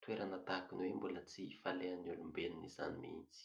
Toerana tahakin' ny hoe mbola tsy falehan' ny olombelon' izany mihintsy.